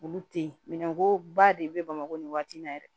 Olu te yen minɛnko ba de be bamakɔ nin waati in na yɛrɛ